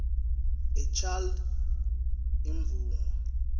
a child imvumo